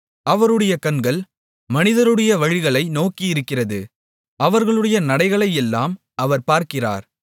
அவருடைய கண்கள் மனிதருடைய வழிகளை நோக்கியிருக்கிறது அவர்களுடைய நடைகளையெல்லாம் அவர் பார்க்கிறார்